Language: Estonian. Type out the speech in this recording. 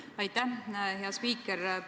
Aitäh, hea spiiker!